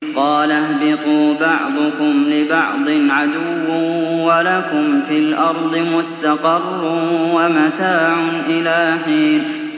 قَالَ اهْبِطُوا بَعْضُكُمْ لِبَعْضٍ عَدُوٌّ ۖ وَلَكُمْ فِي الْأَرْضِ مُسْتَقَرٌّ وَمَتَاعٌ إِلَىٰ حِينٍ